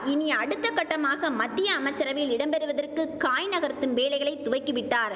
இனி அடுத்த கட்டமாக மத்திய அமைச்சரவையில் இடம் பெறுவதற்கு காய் நகர்த்தும் வேலைகளை துவக்கி விட்டார்